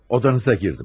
Odanıza girdim.